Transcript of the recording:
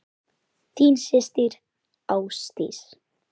Þín systir, Ásdís.